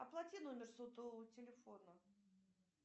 оплати номер сотового телефона